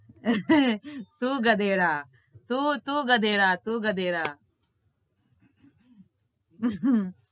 તું ગધેડા તું તું ગધેડા તું ગધેડા